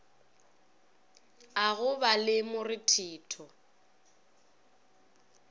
a go ba le morethetho